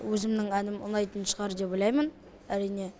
өзімнің әнім ұнайтын шығар деп ойлаймын әрине